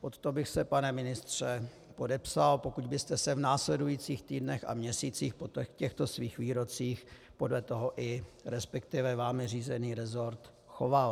Pod to bych se, pane ministře, podepsal, pokud byste se v následujících týdnech a měsících po těchto svých výrocích podle toho, i respektive vámi řízený resort, choval.